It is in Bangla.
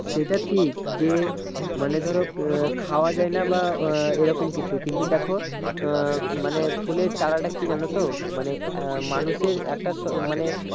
সেটা ঠিক যে মানে ধরো আহ খাওয়া যায়না বা আহ এইরকম কিছু কিন্তু দেখো আহ মানে ফুলের চারাটা কি জানতো মানে আহ মানুষের একটা স মানে